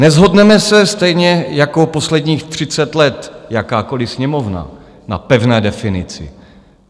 Neshodneme se, stejně jako posledních 30 let jakákoliv Sněmovna, na pevné definici.